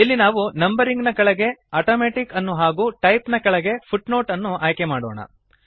ಇಲ್ಲಿ ನಾವು ನಂಬರಿಂಗ್ ನ ಕೆಳಗೆ ಆಟೋಮ್ಯಾಟಿಕ್ ಅನ್ನು ಹಾಗೂ ಟೈಪ್ ನ ಕೆಳಗೆ ಫುಟ್ನೋಟ್ ಅನ್ನು ಆಯ್ಕೆಮಾಡೋಣ